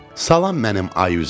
Salam mənim ay üzlüm.